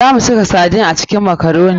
Za mu saka sardine a cikin makaroni.